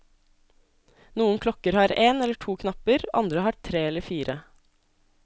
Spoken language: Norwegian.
Noen klokker har én eller to knapper, andre har tre eller fire.